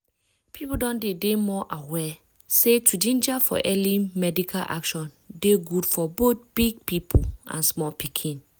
people don dey dey more aware say to ginger for early medical action dey good for both big people and small pikin.